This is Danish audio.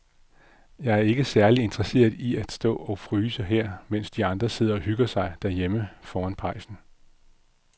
Jeg er ikke særlig interesseret i at stå og fryse her, mens de andre sidder og hygger sig derhjemme foran pejsen.